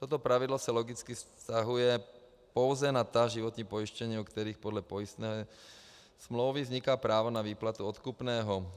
Toto pravidlo se logicky vztahuje pouze na ta životní pojištění, u kterých podle pojistné smlouvy vzniká právo na výplatu odkupného.